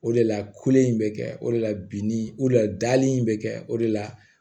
O de la kolen in bɛ kɛ o de la bi ni o de la dali in bɛ kɛ o de la